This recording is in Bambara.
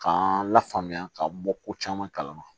K'an lafaamuya ka bɔ ko caman kalama